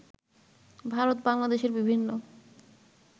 ভারত বাংলাদেশের বিভিন্ন